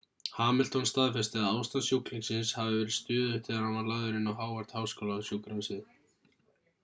hamilton staðfesti að ástand sjúklingsins hafi verið stöðugt þegar hann var lagður inn á howard-háskólasjúkrahúsið